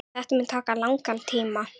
Þetta mun taka langan tíma.